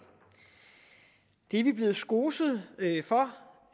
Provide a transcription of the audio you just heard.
det er vi blevet skoset for